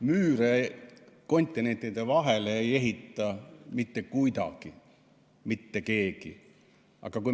Müüre kontinentide vahele ei ehita mitte kuidagi mitte keegi.